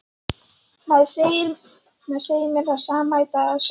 Maður segir mér það sama í dag af sjálfum sér.